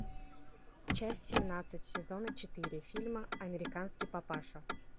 часть семнадцать сезона четыре фильма американский папаша